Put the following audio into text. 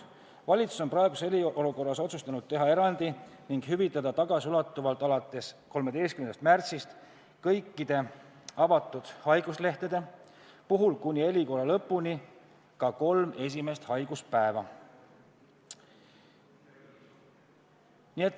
Valitsus on praeguses eriolukorras otsustanud teha erandi ning hüvitada tagasiulatuvalt alates 13. märtsist kõikide avatud haiguslehtede puhul kuni eriolukorra lõpuni ka kolm esimest haiguspäeva.